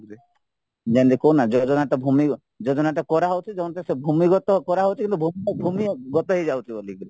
ଯେମିତି କହୁନ ଭୂମି ଭୂମି ଯୋଜନା କରାଯାଉଛି ସେ ଭୂମିଗତ କରାଯାଉଛି କିନ୍ତୁ ଭୂମିଗତ ହେଇଯାଉଛି ବୋଲିକିରି